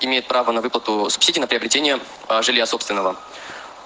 имеет право на выплату субсидии на приобретение жилья собственного